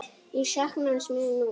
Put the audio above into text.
Ég sakna hans mjög nú.